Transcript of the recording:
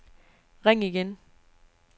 ring igen